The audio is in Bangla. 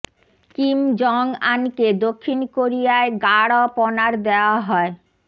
কিম জং আনকে দক্ষিণ কোরিয়ায় গার্ড অব অনার দেয়া হয়